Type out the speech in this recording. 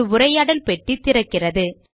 ஒரு உரையாடல் பெட்டி திறக்கிறது